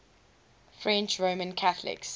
french roman catholics